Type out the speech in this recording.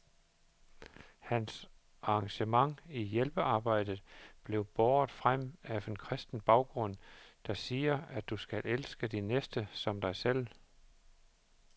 Hans engagement i hjælpearbejdet bliver båret frem af en kristen baggrund, der siger, at du skal elske din næste som dig selv.